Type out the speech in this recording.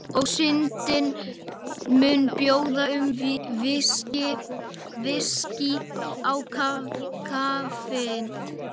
Og Syndin mun biðja um VISKÍ í kaffið.